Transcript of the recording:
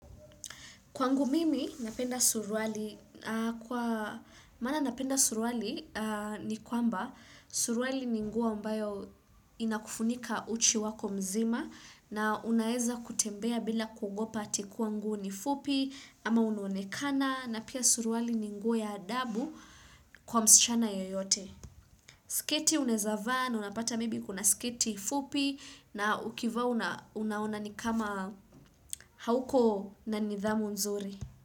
Kwangu mimi napenda suruali napenda suruali ni kwamba suruali ni nguo ambayo inakufunika uchi wako mzima na unaeza kutembea bila kuogopa ati kuwa nguo ni fupi ama unuonekana na pia suruali ni nguo ya adabu kwa msichana yoyote. Sketi unaezava na unapata maybe kuna sketi fupi na ukivaa unaona ni kama hauko na nidhamu nzuri.